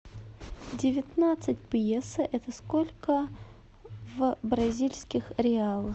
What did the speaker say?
девятнадцать песо это сколько в бразильских реалах